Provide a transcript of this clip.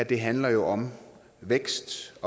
det handler jo om vækst